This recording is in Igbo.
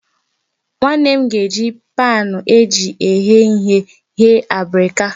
Nwanne m nwaanyị ga-eji paanụ eji eghe ihe ghee abrika